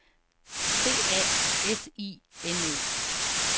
C A S I N O